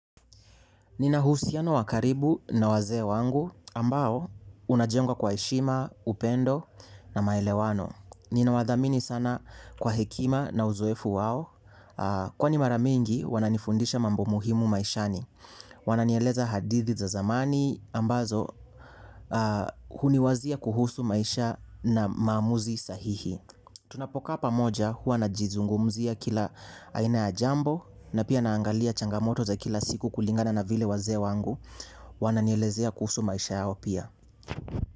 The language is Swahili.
Nina uhusiano wa karibu na wazee wangu ambao unajengwa kwa heshima, upendo na maelewano. Ninawathamini sana kwa hekima na uzoefu wao. Kwani mara mingi wananifundisha mambo muhimu maishani. Wananieleza hadithi za zamani ambazo huniwazia kuhusu maisha na maamuzi sahihi. Tunapokaa pamoja huwa najizungumzia kila aina ya jambo na pia naangalia changamoto za kila siku kulingana na vile wazee wangu wananielezea kuhusu maisha yao pia.